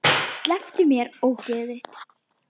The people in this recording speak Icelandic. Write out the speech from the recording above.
Slepptu mér, ógeðið þitt!